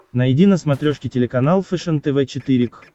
найди на смотрешке телеканал фэшен тв четыре к